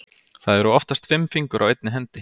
Það eru oftast fimm fingur á einni hendi.